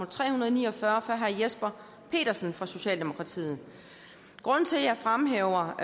tre hundrede og ni og fyrre fra herre jesper petersen fra socialdemokratiet grunden til at jeg fremhæver